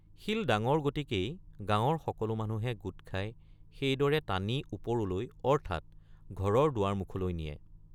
শিল ডাঙৰ গতিকেই গাঁৱৰ সকলো মানুহে গোট খাই সেইদৰে টানি ওপৰলৈ অৰ্থাৎ ঘৰৰ দুৱাৰমুখলৈ নিয়ে।